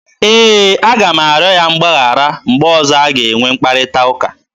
E, a ga m arịọ ya mgbaghara mgbe ọzọ a ga-enwe mkparịta ụka.